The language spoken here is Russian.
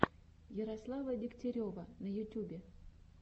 ярослава дегтярева на ютюбе